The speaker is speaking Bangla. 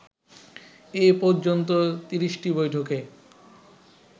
এ পর্যন্ত ৩০টি বৈঠকে